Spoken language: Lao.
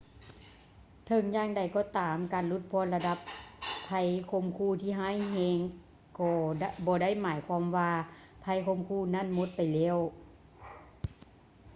ເຖິງຢ່າງໃດກໍຕາມ ການຫຼຸດຜ່ອນລະດັບໄພຂົ່ມຂູ່ທີ່ຮ້າຍແຮງກໍບໍ່ໄດ້ໝາຍຄວາມວ່າໄພຂົ່ມຂູ່ນັ້ນໝົດໄປແລ້ວ